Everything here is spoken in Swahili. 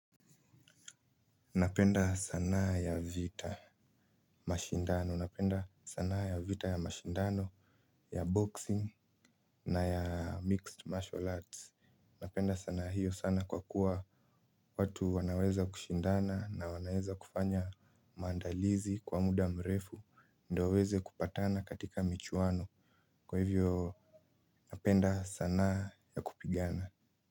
Napenda sanaa ya vita, mashindano. Napenda sanaa ya vita ya mashindano, ya boxing na ya mixed martial arts. Napenda sanaa hiyo sana kwa kuwa watu wanaweza kushindana na wanaweza kufanya maandalizi kwa muda mrefu, ndo waeze kupatana katika michuano. Kwa hivyo, napenda sana ya kupigana.